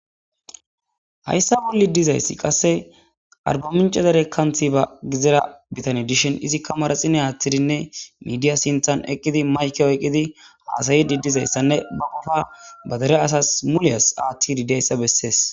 hayssa bolli dizayssi qasse arbaminco dere kanthi ba gizera bitani dishin izikka maraxine aathtidinne midiya sinthan eqqidi mayke oyqqidi haasayidi dizayssanne ba gufa badere asas muliyas aathti ridayssa bessees